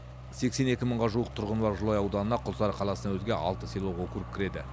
сексен екі мыңға жуық тұрғыны бар жылыой ауданына құлсары қаласынан өзге алты селолық округ кіреді